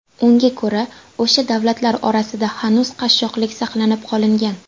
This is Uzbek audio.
Unga ko‘ra, o‘sha davlatlar orasida hanuz qashshoqlik saqlanib qolingan.